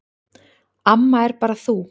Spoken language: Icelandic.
Amma er bara þú.